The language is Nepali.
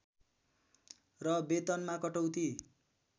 र वेतनमा कटौती